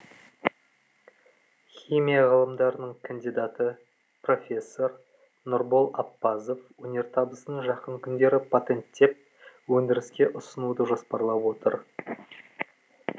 химия ғылымдарының кандидаты профессор нұрбол аппазов өнертабысын жақын күндері патенттеп өндіріске ұсынуды жоспарлап отыр